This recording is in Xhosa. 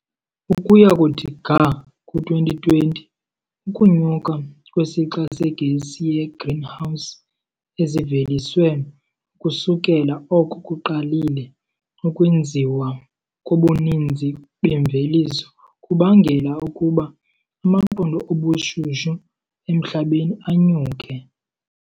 Ukuya kuthi ga ku-2020, ukunyuka kwesixa segesi yegreenhouse eziveliswe ukusukela oko kuqalile ukwenziwa kobuninzi bemveliso kubangela ukuba amaqondo obushushu emhlabeni anyuke.